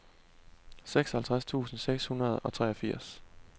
seksoghalvtreds tusind seks hundrede og treogfirs